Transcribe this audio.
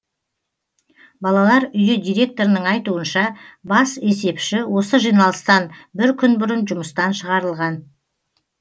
балалар үйі директорының айтуынша бас есепші осы жиналыстан бір күн бұрын жұмыстан шығарылған